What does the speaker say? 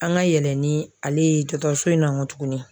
An ka yɛlɛn ni ale ye dɔgɔtɔrɔso in na nkɔ tuguni.